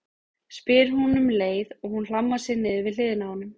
spyr hún um leið og hún hlammar sér niður við hliðina á honum.